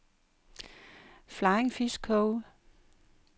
Flying Fish Cove